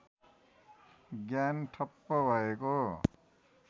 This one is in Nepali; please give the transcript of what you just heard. ज्ञान ठप्प भएको